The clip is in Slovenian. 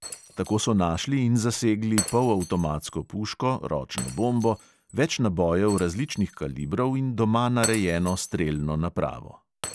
Tako so našli in zasegli polavtomatsko puško, ročno bombo, več nabojev različnih kalibrov in doma narejeno strelno napravo.